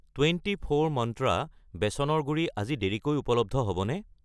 Twenty four মন্ত্ৰা বেচনৰ গুড়ি আজি দেৰিকৈ উপলব্ধ হ'বনে?